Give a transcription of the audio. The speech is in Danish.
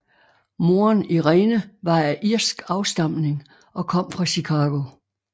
Moderen Irene var af irsk afstamning og kom fra Chicago